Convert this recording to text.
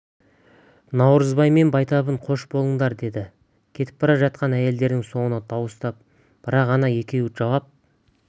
наурызбай мен байтабын қош болыңдар деді кетіп бара жатқан әйелдердің соңынан дауыстап бірақ ана екеуі жауап